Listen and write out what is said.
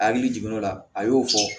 A hakili jiginn'o la a y'o fɔ